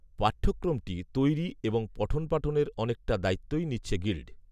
পাঠ্যক্রমটি তৈরি এবং পঠনপাঠনের অনেকটা দায়িত্বই নিচ্ছে গিল্ড